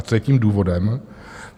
A co je tím důvodem?